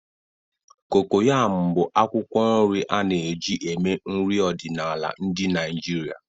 Cocoyam bụ akwụkwọ nri a na-eji eme nri ọdịnala ndị Naijiria.